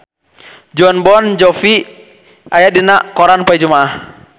Jon Bon Jovi aya dina koran poe Jumaah